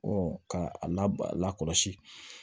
k'a la kɔlɔsi